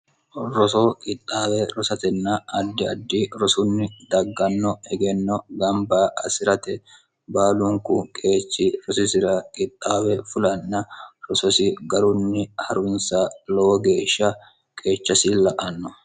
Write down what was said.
rosoo qixxaawe rosatenna addi addi rosunni dagganno hegenno gamba asi'rate baalunku qeechi rosisira qixxaawe fulanna rososi garunni harwinsa lowo geeshsha qeecha silla anno